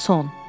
Son.